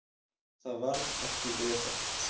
Það varð ekki vefengt.